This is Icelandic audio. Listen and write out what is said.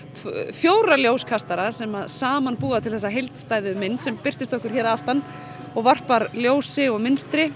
fjóra ljóskastara sem saman búa til þessa heildstæðu mynd sem birtist okkur hér aftan og varpar ljósi og mynstri